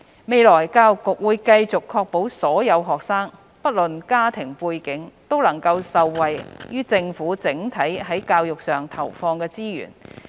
未來，教育局會繼續確保所有學生，不論其家庭背景，都能受惠於政府整體在教育上投放的資源。